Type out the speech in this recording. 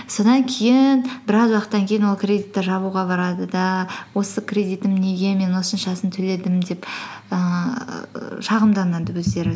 содан кейін біраз уақыттан кейін ол кредитті жабуға барады да осы кредитім неге мен осыншасын төледім деп ііі шағымданады өздері